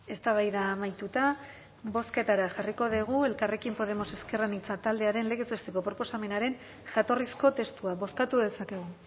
eztabaida amaituta bozketara jarriko dugu elkarrekin podemos ezker anitza taldearen legez besteko proposamenaren jatorrizko testua bozkatu dezakegu